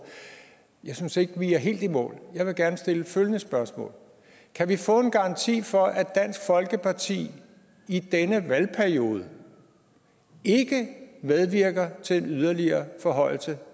jeg synes ikke at vi er helt i mål jeg vil gerne stille følgende spørgsmål kan vi få en garanti for at dansk folkeparti i denne valgperiode ikke medvirker til yderligere forhøjelse